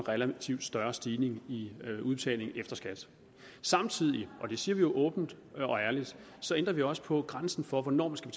relativt større stigning i udbetalingen efter skat samtidig og det siger vi jo åbent og ærligt ændrer vi også på grænsen for hvornår man skal